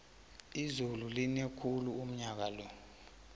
izulu line khulu unyakalo